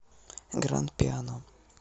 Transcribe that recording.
гранд пиано